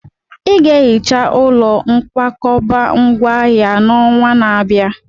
Ị ga-ehicha ụlọ nkwakọba ngwá ahịa n'ọnwa na-abịa!